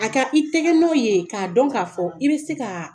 A ka i tɛgɛ nɔ ye k'a dɔn k'a fɔ i bɛ se kaaa